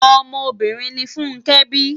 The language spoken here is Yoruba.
Òmò óbìrín ni Funke bi